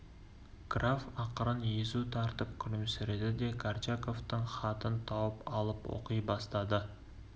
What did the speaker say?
граф ақырын езу тартып күлімсіреді де горчаковтың хатын тауып алып оқи бастады